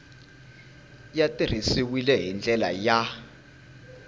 ya tirhisiwile hi ndlela ya